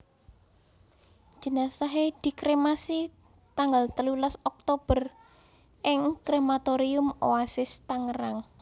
Jenazahé dikremasi tanggal telulas Oktober ing Krematorium Oasis Tangerang